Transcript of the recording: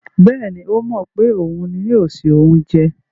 Bẹ́ẹ̀ni, ó mọ̀ pé òun ni yóò se oúnjẹ.